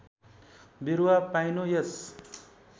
बिरुवा पाइनु यस